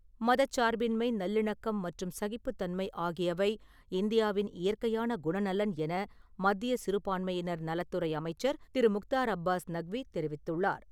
மதச்சார்பின்மை, நல்லிணக்கம் மற்றும் சகிப்புத்தன்மை ஆகியவை இந்தியாவின் இயற்கையான குணநலன் என மத்திய சிறுபான்மையினர் நலத்துறை அமைச்சர் திரு முக்தார் அப்பாஸ் நக்வி தெரிவித்துள்ளார்.